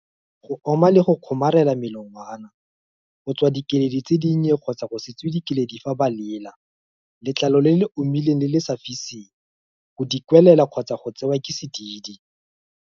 Go oma le go kgomarela melongwana. Go tswa dikeledi tse dinnye kgotsa go se tswe dikeledi fa ba lela. Letlalo le le omileng le le sa fiseng. Go dikwelela kgotsa go tsewa ke sedidi.